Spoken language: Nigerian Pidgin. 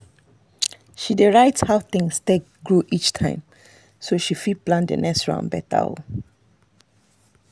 she dey write down how things take grow each time so she fit plan the next round better.